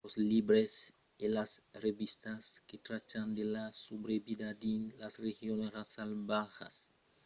los libres e las revistas que trachan de la subrevida dins las regions salvatjas son frequentas mas las publicacions que trachas de zònas de guèrra son escassas